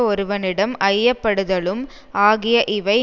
ஒருவனிடம் ஐய படுதலும் ஆகிய இவை